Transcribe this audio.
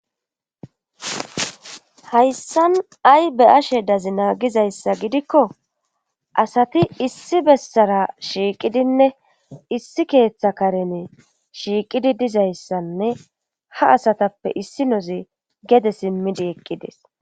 hayssan ay be:ashe dazina gizayssa gidikko asati issi bessara shiiqidinne issi keeththa karene shiiqidi dizayssanne ha asatappe issi nozi gede simmidi eqqides